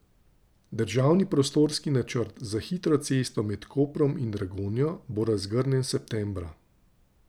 Državni prostorski načrt za hitro cesto med Koprom in Dragonjo bo razgrnjen septembra.